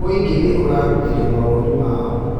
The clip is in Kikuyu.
Mũingĩ nĩ ũrarutire mawoni mao.